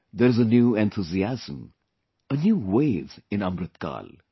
There is a new enthusiasm, a new wave in Amritkaal